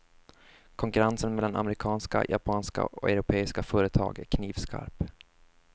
Konkurrensen mellan amerikanska, japanska och europeiska företag är knivskarp.